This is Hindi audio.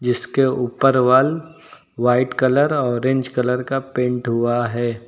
इसके उपर wall white colour orange colour का पेंट हुआ है।